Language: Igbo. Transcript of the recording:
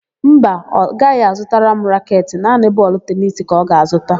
Mba, ọ gaghị azụtara m raketị; naanị bọọlụ tenisi ka ọ ga-azụta.